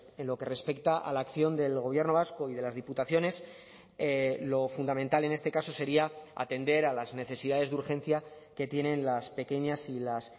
en lo que respecta a la acción del gobierno vasco y de las diputaciones lo fundamental en este caso sería atender a las necesidades de urgencia que tienen las pequeñas y las